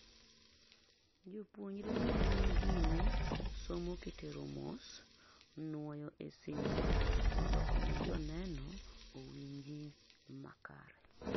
jopuonjre ne ni gine somo kitero mos, nuoyo e simu mondo omi joneno owinji makare